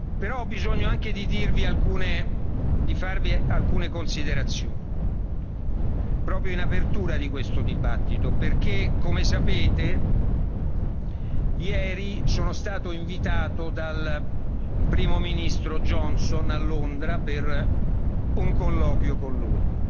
Però ho anche bisogno di farvi alcune considerazioni, proprio in apertura di questo dibattito. Come sapete, ieri sono stato invitato dal Primo ministro Johnson a Londra per un colloquio con lui.